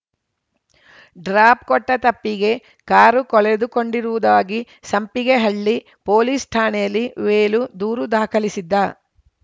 drop ಕೊಟ್ಟತಪ್ಪಿಗೆ car ಕಳೆದುಕೊಂಡಿರುವುದಾಗಿ Sampigehalli police ಠಾಣೆಯಲ್ಲಿ ವೇಲು ದೂರು ದಾಖಲಿಸಿದ್ದ